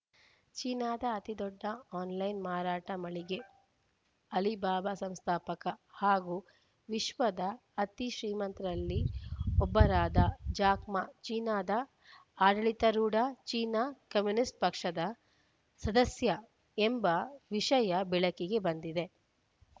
ಚೀನಾದ ಅತಿದೊಡ್ಡ ಆನ್‌ಲೈನ್‌ ಮಾರಾಟ ಮಳಿಗೆ ಅಲಿಬಾಬಾ ಸಂಸ್ಥಾಪಕ ಹಾಗೂ ವಿಶ್ವದ ಅತೀ ಶ್ರೀಮಂತರಲ್ಲಿ ಒಬ್ಬರಾದ ಜಾಕ್‌ ಮಾ ಚೀನಾದ ಆಡಳಿತಾರೂಢ ಚೀನಾ ಕಮ್ಯುನಿಸ್ಟ್‌ ಪಕ್ಷದ ಸದಸ್ಯ ಎಂಬ ವಿಷಯ ಬೆಳಕಿಗೆ ಬಂದಿದೆ